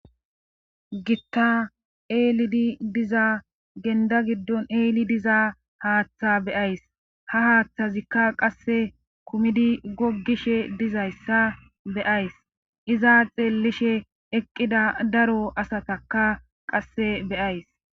Gitta eelidi diza genda giddon eeli diza haaththa beyays ha haaththazikka qasse kumidi goggishe dizayssa beyays iza xeellishe eqqida daro asataka qasse beyays